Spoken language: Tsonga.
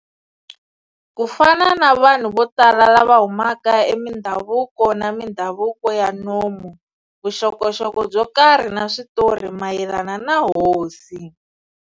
Ku fana na vanhu vo tala lava humaka emindhavuko na mindhavuko ya nomu, vuxokoxoko byo karhi na switori mayelana na Hosi.